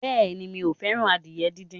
Bẹ́ẹ̀ni mi ò fẹ́ràn adìyẹ díndín.